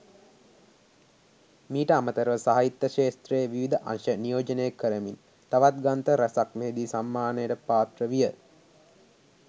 මීට අමතරව සාහිත්‍ය ක්ෂේත්‍රයේ විවිධ අංශ නියෝජනය කරමින් තවත් ග්‍රන්ථ රැසක් මෙහිදී සම්මානයට පාත්‍ර විය.